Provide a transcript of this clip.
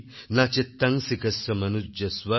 ন চেতাংন্সি কস্য মনুজস্য